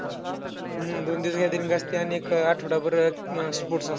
हम्म दोन दिवस gathering असतंय. आणि एक आठवडाभर अं sports असतंय.